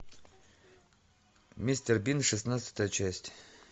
мистер бин шестнадцатая часть